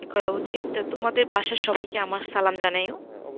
করা উচিত তো তোমাদের বাসার সবাই কেমন সালাম জানাইও।